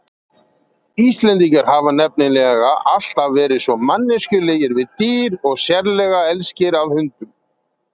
Íslendingar hafa nefnilega alltaf verið svo manneskjulegir við dýr og sérlega elskir að hundum.